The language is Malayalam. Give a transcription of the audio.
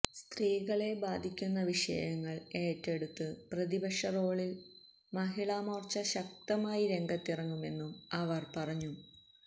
സ്തീകളെ ബാധിക്കുന്ന വിഷയങ്ങള് ഏറ്റെടുത്ത് പ്രതിപക്ഷറോളില് മഹിളാമോര്ച്ച ശക്തമായി രംഗത്തിറങ്ങുമെന്നും അവര് പറഞ്ഞു